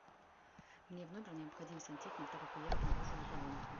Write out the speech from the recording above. мне в номер необходим сантехник так как я обнаружила поломку